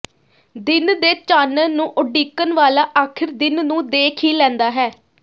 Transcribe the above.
ਦਿਨ ਦੇ ਚਾਨਣ ਨੂੰ ਉਡੀਕਣ ਵਾਲਾ ਆਖਿਰ ਦਿਨ ਨੂੰ ਦੇਖ ਹੀ ਲੈਂਦਾ ਹੈ